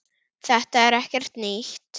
Þetta er ekkert nýtt.